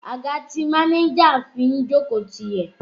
Àga tí máníjà fi ń jókòó ti yẹ̀